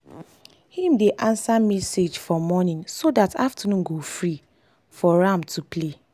him dey answer message for morning so dat afternoon go free for am to play.